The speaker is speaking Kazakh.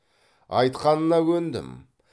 айтқанына көндім